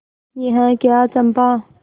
यह क्या चंपा